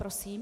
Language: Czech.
Prosím.